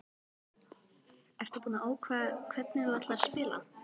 Ertu búinn að ákveða hvernig þú ætlar að spila?